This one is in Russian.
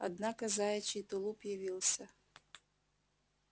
однако заячий тулуп явился